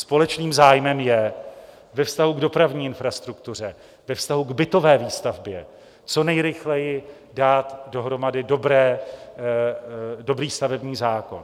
Společným zájmem je ve vztahu k dopravní infrastruktuře, ve vztahu k bytové výstavbě co nejrychleji dát dohromady dobrý stavební zákon.